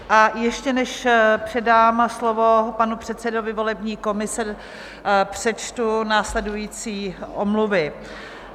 A ještě než předám slovo panu předsedovi volební komise, přečtu následující omluvy.